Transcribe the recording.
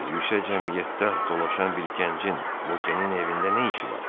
yüksək cəmiyyətdə dolaşan bir gəncin Vokenin evində nə işi var?